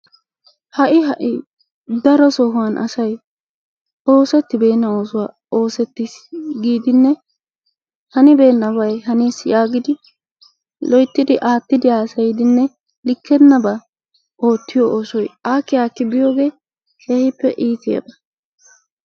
Ha'i ha'i darosaan asay oosettibeena oosuwaa osettiis giidinne hanibeenabay hanis yaagidi loyttidi aattidi hasayiidinne likkenaabaa oottiyoo oosoy aakki aakki biyoogee keehippe iitiyaaaba.